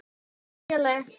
Ágæti vinur og félagi.